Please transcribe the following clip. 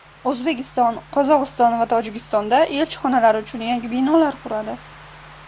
O‘zbekiston Qozog‘iston va Tojikistonda elchixonalari uchun yangi binolar quradi .